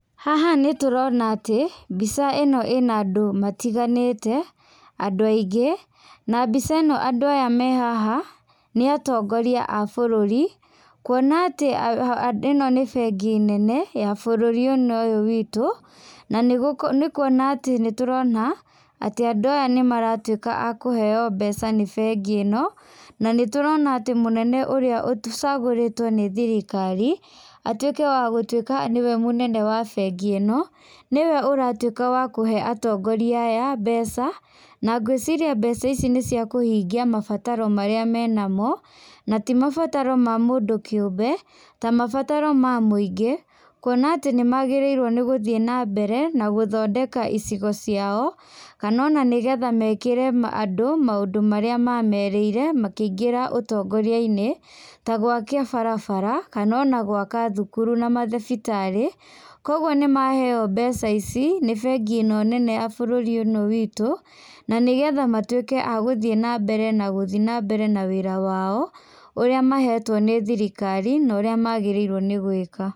Haha nĩtũrona atĩ mbica ĩno ĩna andũ matiganĩte, andũ aingĩ, na mbica ĩno andũ aya me haha nĩ atongoria a bũrũri, kuona atĩ ĩno nĩ bengi nene ya bũrũri-inĩ ũyũ witũ na nĩ kuona atĩ, nĩtũrona atĩ andũ aya nĩmaratuĩka akũheo mbeca nĩ bengi ĩno, na nĩtũrona atĩ mũnene ũrĩa ũcagũrĩtwo nĩ thirikari atuĩke wagũtuĩka nĩwe mũnene wa bengi ĩno nĩwe ũratuaĩka wakũhe atongoria aya mbeca, na ngwĩciria mbeca ici nĩciakũhingia mabataro marĩa menamo, na ti mabataro ma mũndũ kĩũmbe, ta mabataro ma mũingĩ, kuona atĩ nĩ magĩrĩirwo nĩgũthiĩ na mbere nagũthondeka icigo ciao, kana ona nĩgetha mekĩre andũ maũndũ marĩa mamerĩire, makĩingĩra ũtongoria-inĩ, ta gwaka barabara, kana ona gwaka thukuru na mathibitarĩ. Koguo nĩ maheo mbeca ici, nĩ bengi ĩno nene ya bũrũri-inĩ witũ na nĩgetha matuĩke a gũthiĩ na mbere, n agũthiĩ na mbere na wĩra wao ũrĩa mahetwo nĩ thirikari na ũrĩa magĩrĩirwo nĩ gwĩka.